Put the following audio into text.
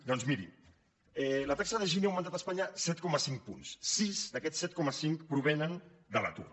doncs miri la taxa de gini ha augmentat a espanya set coma cinc punts sis d’aquests set coma cinc provenen de l’atur